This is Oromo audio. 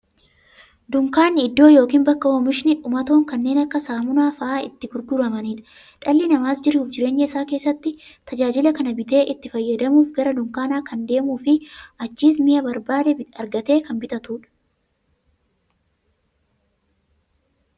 Dunkaanni iddoo yookiin bakka oomishni dhumatoon kanneen akka saamunaa faa'a itti gurguramuudha. Dhalli namaas jiruuf jireenya isaa keessatti, tajaajila kana bitee itti fayyadamuuf, gara dunkaanaa kan deemuufi achiis mi'a barbaade argatee kan bitatuudha.